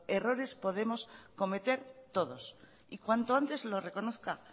errores podemos cometer todos y cuanto antes lo reconozca